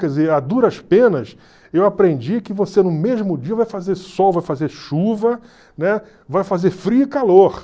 Quer dizer, a duras penas, eu aprendi que você no mesmo dia vai fazer sol, vai fazer chuva, né, vai fazer frio e calor.